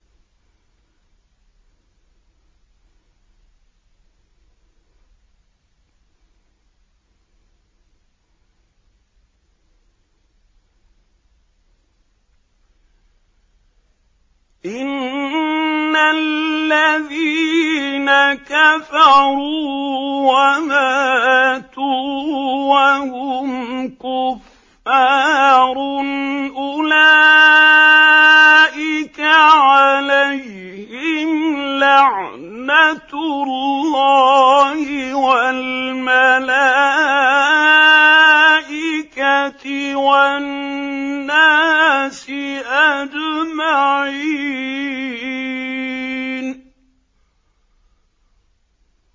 إِنَّ الَّذِينَ كَفَرُوا وَمَاتُوا وَهُمْ كُفَّارٌ أُولَٰئِكَ عَلَيْهِمْ لَعْنَةُ اللَّهِ وَالْمَلَائِكَةِ وَالنَّاسِ أَجْمَعِينَ